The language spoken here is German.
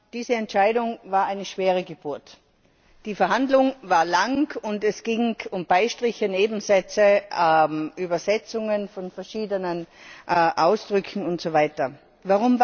Diese Entscheidung war eine schwere Geburt. Die Verhandlung war lang und es ging um Beistriche, Nebensätze, Übersetzungen von verschiedenen Ausdrücken usw.